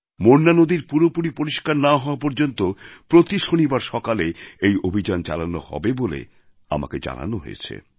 মোরনা নদী পুরোপুরি পরিষ্কার না হওয়া পর্যন্ত প্রতি শনিবার সকালে এই অভিযান চালানো হবে বলে আমাকে জানানো হয়েছে